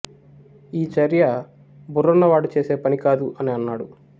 ఈ చర్య బుర్రున్నవాడు చేసే పని కాదు అని అన్నాడు